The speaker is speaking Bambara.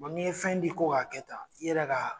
Bɔn ni ye fɛn di ko k'a kɛ tan i yɛrɛ k'a